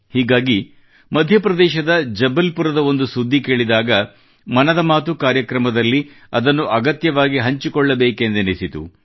ಹೀಗಾಗಿ ಮಧ್ಯಪ್ರದೇಶದ ಜಬಲ್ಪುರದ ಒಂದು ಸುದ್ದಿ ಕೇಳಿದಾಗ ಮನದ ಮಾತುʼ ಕಾರ್ಯಕ್ರಮದಲ್ಲಿ ಅದನ್ನು ಅಗತ್ಯವಾಗಿ ಹಂಚಿಕೊಳ್ಳಬೇಕೆಂದೆನಿಸಿತು